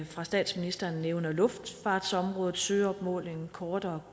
fra statsministeren nævner luftfartsområdet søopmåling kort